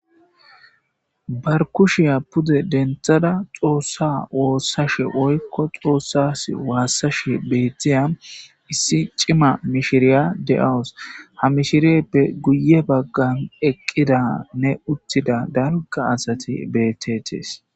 barkushiya pude denthada xoossa woossashe oykko xoossas waassashe beettiya issi cima mishiriya de7awus ha mishiriyeppe guye baggan eqqida ne uttida dalga asati beettetees